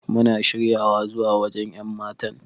Muna shirya zuwa waje wa yanmatan.